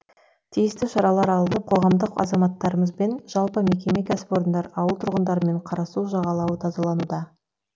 тиісті шаралар алынып қоғамдық азаматтарымызбен жалпы мекеме кәсіпорындар ауыл тұрғындарымен қарасу жағалауы тазалануда